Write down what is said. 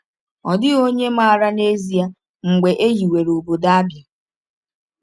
Ọ dịghị onye maara n’ezie mgbe e hiwere obodo Abia.